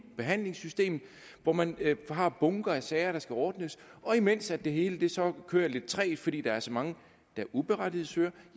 behandlingssystemet hvor man har bunker af sager der skal ordnes og imens det hele så kører lidt trægt fordi der er så mange der uberettiget søger